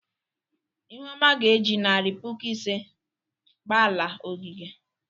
Ihuoma ga-eji narị puku ise gba ala ogige.